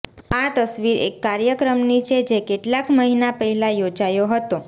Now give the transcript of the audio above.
આ તસવીર એક કાર્યક્રમની છે જે કેટલાક મહિના પહેલા યોજાયો હતો